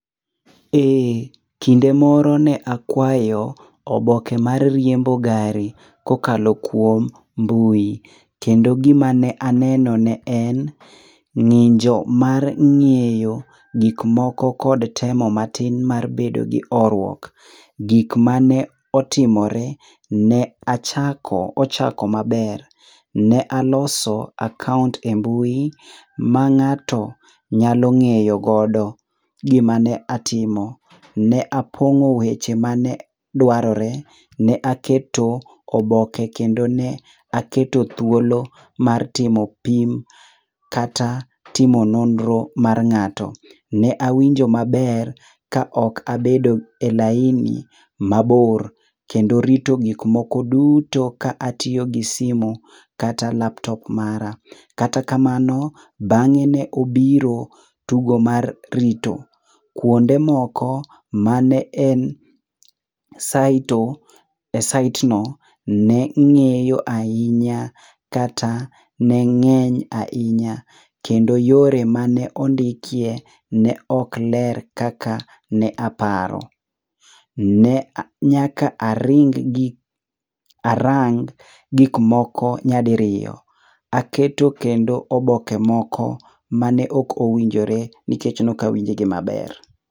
Eh, kinde moro ne akwayo oboke mar riembo gari kokalo kuom mbui. Kendo gima ne aneno ne en ng'injo mar ng'eyo gikmoko kod temo matin mar bedo gi horuok. Gik mane otimore, ne ochako maber, ne aloso akaont e mbui ma ng'ato nyalo ng'eyogodo gima ne atimo. Ne apong'o weche mane dwarore, ne aketo oboke kendo ne aketo thuolo mar timo pim kata timo nonro mar ng'ato. Ne awinjo maber ka ok abedo e laini mabor kendo rito gikmoko duto ka atiyo gi simu kata laptop mara. Kata kamano, bang'e ne obiro tugo mar rito. Kuonde moko mane en e saitno ne ng'iyo ahinya kata ne ng'eny ahinya kendo yore mane ondikie ne ok ler kaka ne aparo. Ne nyaka arang gikmoko nyadiriyo. Aketo kendo oboke moko mane ok owinjore nikech nokawinjgi maber.